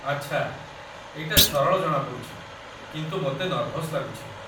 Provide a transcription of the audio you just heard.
ଆଚ୍ଛା, ଏଇଟା ସରଳ ଜଣାପଡ଼ୁଛି, କିନ୍ତୁ ମୋତେ ନର୍ଭସ୍ ଲାଗୁଛି